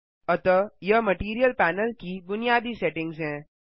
अतः यह material panel की बुनयादी सेटिंग्स हैं